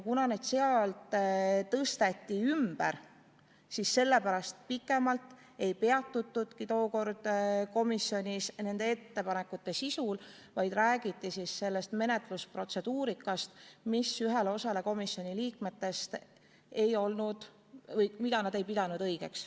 Kuna need tõsteti sealt ümber, siis sellepärast ei peatutudki tookord komisjonis pikemalt nende ettepanekute sisul, vaid räägiti menetlusprotseduurist, mida üks osa komisjoni liikmeid ei pidanud õigeks.